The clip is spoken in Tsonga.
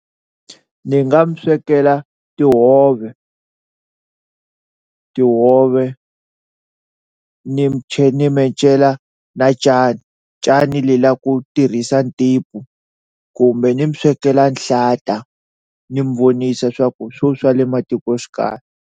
Ni nga mi swekela tihove tihove ni tlhe ni mi encela na cani, cani le la ku tirhisa kumbe ni mi swekela nhlata ni mi vonisa swa ku hi swo swa le matikoxikaya.